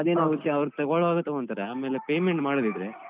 ಅದೇನೊ ವಿಷ್ಯ ಅವ್ರು ತಗೋಳೋವಾಗ ತಗೊಂತಾರೆ ಆಮೇಲೆ payment ಮಾಡದಿದ್ರೆ.